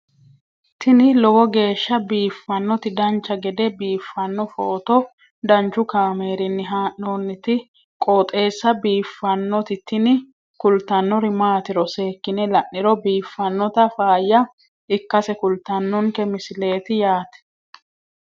tini lowo geeshsha biiffannoti dancha gede biiffanno footo danchu kaameerinni haa'noonniti qooxeessa biiffannoti tini kultannori maatiro seekkine la'niro biiffannota faayya ikkase kultannoke misileeti yaate